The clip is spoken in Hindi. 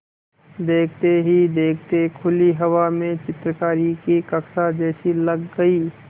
देखते ही देखते खुली हवा में चित्रकारी की कक्षा जैसी लग गई